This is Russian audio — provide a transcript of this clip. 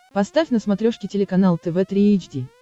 поставь на смотрешке телеканал тв три эйч ди